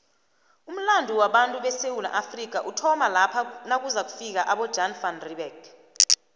umulando wabatu besewula afrika uthoma lapha nakuzofika abojan van reebeck